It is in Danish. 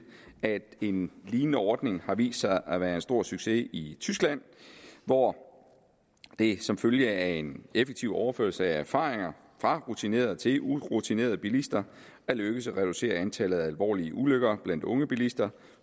at en lignende ordning har vist sig at være en stor succes i tyskland hvor det som følge af en effektiv overførsel af erfaringer fra rutinerede til urutinerede bilister er lykkedes at reducere antallet af alvorlige ulykker blandt unge bilister